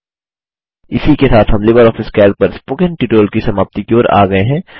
इसी के साथ हम लिबर ऑफिस कैल्क पर स्पोकन ट्यूटोरियल की समाप्ति की ओर आ गये हैं